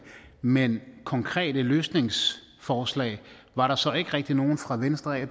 men konkrete løsningsforslag er der så ikke rigtig nogen fra venstre af